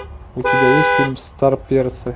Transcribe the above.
у тебя есть фильм старперцы